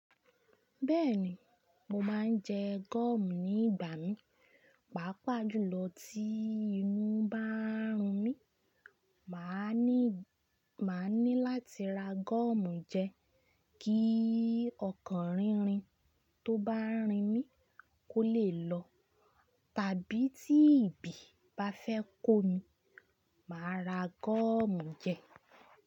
Bẹ́ẹ̀ni, mo máa ń jẹ gọ́ọ̀mù ní ìgbà mí. Pàápàá jùlọ tí inú bá ń run mí, màá ni ní, màá ní láti ra gọ́ọ̀mù jẹ kí ọkàn rínrin tó bá ń rìn mí kó lè lọ, tàbí tí ibi bá fẹ́ kó mi, màá ra gọ́ọ̀mù jẹ.